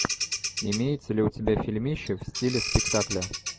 имеется ли у тебя фильмище в стиле спектакля